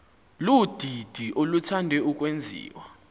ludidi oluthande ukwenziwa